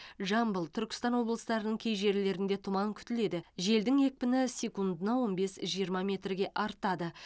жамбыл түркістан облыстарының кей жерлерінде тұман күтіледі желдің екпіні секундына он бес жиырма метрге артады